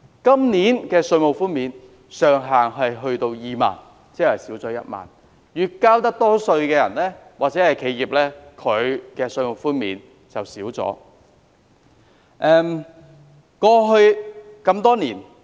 今年的稅務寬免上限是2萬元，即減少1萬元，意味交稅多的人或企業享受的稅務寬免有所減少。